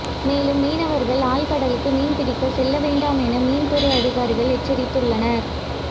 மேலும் மீனவர்கள் ஆழ்கடலுக்கு மீன்பிடிக்க செல்லவேண்டாம் என மீன் துறை அதிகாரிகள் எச்சரித்துள்ளனர்